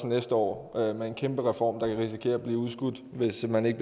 næste år med en kæmpe reform risikere at blive udskudt hvis man ikke